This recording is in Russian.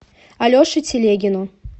алеше телегину